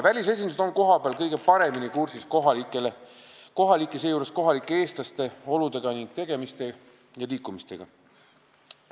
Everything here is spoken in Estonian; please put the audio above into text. Välisesindused on kohapeal kõige paremini kursis kohalike oludega, ka kohalike eestlaste olude, tegemiste ja liikumistega.